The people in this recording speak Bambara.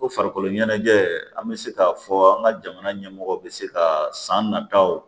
Ko farikolo ɲɛnajɛ an bɛ se k'a fɔ an ka jamana ɲɛmɔgɔ bɛ se ka san nataw